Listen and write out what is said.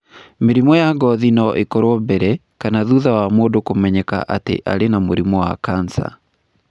Mĩrimũ ya ngothi no ĩkorũo mbere kana thutha wa mũndũ kũmenyeka atĩ arĩ na mũrimũ wa kansa.